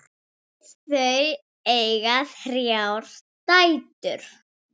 Þau eiga þrjár dætur.